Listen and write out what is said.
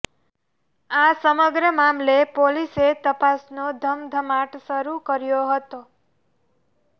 આ સમગ્ર મામલે પોલીસે તપાસનો ધમધમાટ શરૂ કર્યો હતો